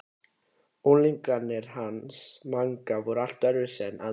Unglingarnir hans Manga voru líka allt öðruvísi en aðrar kýr.